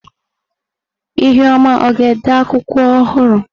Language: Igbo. ihuoma ọ ga-ede akwụkwọ ọhụrụ?